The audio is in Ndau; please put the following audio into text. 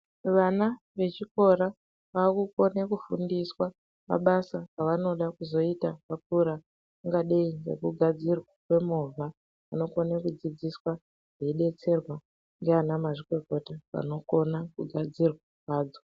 Vana vechikora vakukone kufundiswa mabasa avanode kuzoita vakura zvakadai nekugadzirwa kwemovha anokone kudzidziswa veidetserwa ndiana mazvikokota vanokone kugadzira kwadzo.